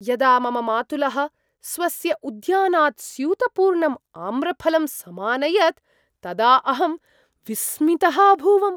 यदा मम मातुलः स्वस्य उद्यानात् स्यूतपूर्णम् आम्रफलं समानयत्, तदा अहं विस्मितः अभूवम्।